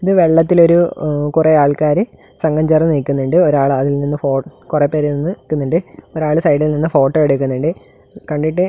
ഇത് വെള്ളത്തിൽ ഒരു എവ് കൊറെ ആൾക്കാര് സംഘം ചേർന്ന് നിക്കുന്നുണ്ട് ഒരാൾ അതിൽ നിന്ന് ഫോ കൊറെ പേര് നിന്ന് നിക്കുന്നുണ്ട് ഒരാൾ സൈഡിൽ നിന്ന് ഫോട്ടോ എടുക്കുന്നുണ്ട് കണ്ടിട്ട്--